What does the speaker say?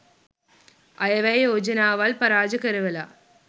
අයවැය යෝජනාවල් පරාජ කරවලා